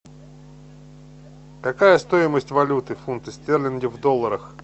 какая стоимость валюты фунты стерлинги в долларах